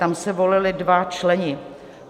Tam se volili dva členové.